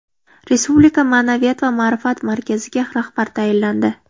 Respublika ma’naviyat va ma’rifat markaziga rahbar tayinlandi.